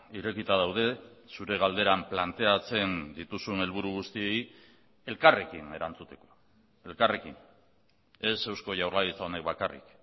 irekita daude zure galderan planteatzen dituzun helburu guztiei elkarrekin erantzuteko elkarrekin ez eusko jaurlaritza honek bakarrik